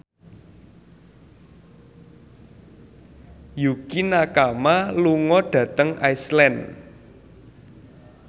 Yukie Nakama lunga dhateng Iceland